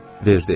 Verdi.